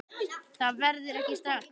Það verður ekki strax